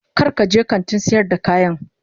Kar ka je kantin sayar da kayan